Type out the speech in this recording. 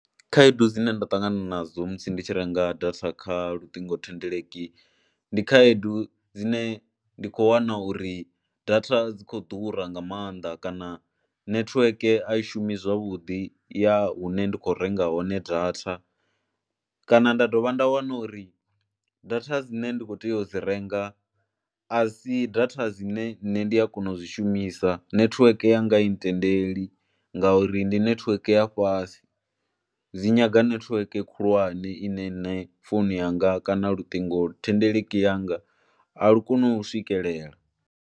Khaedu dzine nda ṱangana nadzo musi ndi tshi renga data kha luṱingothendeleki, ndi khaedu dzine ndi khou wana uri data dzi khou ḓura nga maanḓa kana nethiweke a i shumi zwavhuḓi ya hune nda khou renga hone data kana nda dovha nda wana uri data dzine nda khou tea u dzi renga a si data dzine nṋe ndi a kona u dzi shumisa. Nethiweke yanga a i ntendeli ngauri ndi nethiweke ya fhasi, dzi nyaga nethiweke khulwane ine nṋe founu yanga kana luṱingothendeleki yanga a lu koni u swikelela.